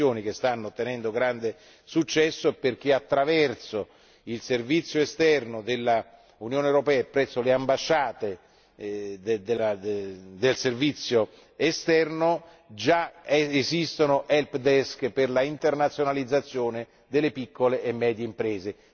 Sono missioni che stanno ottenendo grande successo, perché attraverso il Servizio esterno dell'Unione europea e presso le ambasciate del Servizio esterno, già esistono help desk per l'internazionalizzazione delle piccole e medie imprese.